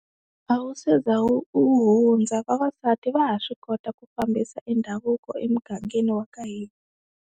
A wu se za u wu hundza vavasati va ha swi kota ku fambisa e ndhavuko emugangeni wa ka hina.